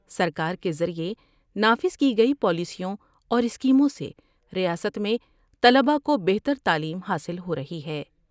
سرکار کے ذریعہ نافذ کی گئی پالیسیوں اور اسکیموں سے ریاست میں طلباء کو بہتر تعلیم حاصل ہو رہی ہے